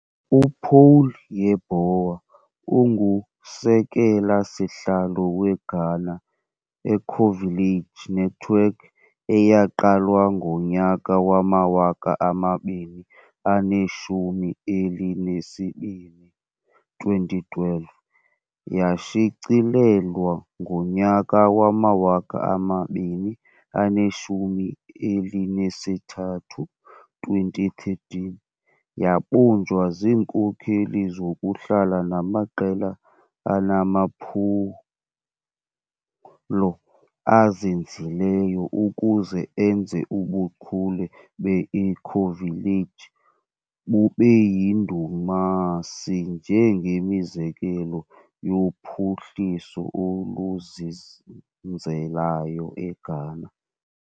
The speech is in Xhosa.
UPaul Yeboah ungusekela sihlalo weGhana Ecovillage Network eyaqalwa ngonyaka wamawaka amabini aneshumi elinesibini, 2012, yashicilelwa ngonyaka wamawaka amabini aneshumi elinesithathu, 2013, Yabunjwa zinkokheli zokuhlala namaqela anamaphulo azinzileyo ukuze enze ubuchule beEcovillage bubeyindumasi njengemizekelo yophuhliso oluzinzeleyo eGhana.